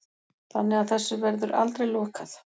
Þannig að þessu verður aldrei lokað